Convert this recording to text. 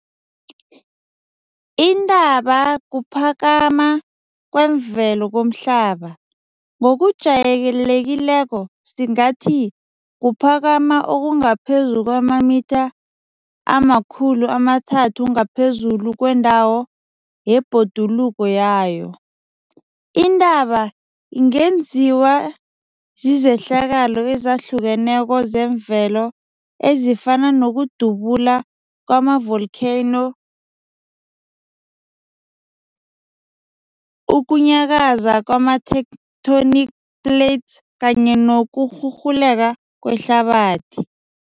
Intaba kuphakama kwemvelo komhlaba, ngokujayelekileko singathi kuphakama okungaphezu kwamamitha ama-300 ngaphezulu kwendawo yebhoduluko yayo. Intaba ingenziwa zizehlakalo ezehlukeneko zemvelo ezifana nokudubula kwama volcano, ukunyakaza kwama tectonic plates kanye nokurhurhuleka kwehlabathi.